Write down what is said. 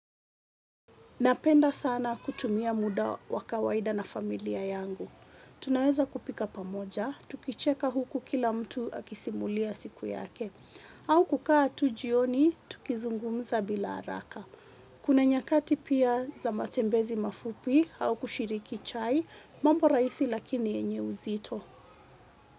Napenda sana kutumia muda wa kawaida na familia yangu. Tunaweza kupika pamoja, tukicheka huku kila mtu akisimulia siku yake. Au kukaa tu jioni, tukizungumza bila haraka. Kuna nyakati pia za matembezi mafupi, au kushiriki chai, mambo raisi lakini enye uzito.